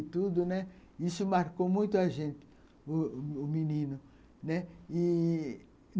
Tudo, né. Isso marcou muito a gente, o o Menino, né.